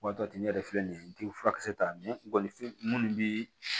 Waati ɲɛ yɛrɛ filɛ nin ye i tɛ furakisɛ ta minnu bɛ